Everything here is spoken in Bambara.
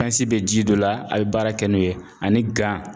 bɛ ji dɔ la a bɛ baara kɛ n'o ye ani